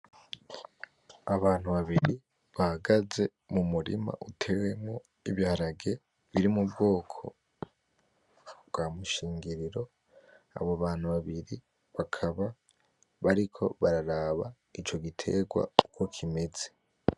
Abantu babiri bahagaze mumurima utewemwo Ibiharage biri mubwoko bwamushingiriro, abo bantu babiri bakaba bariko bararaba ico gitegwa uko kimeze.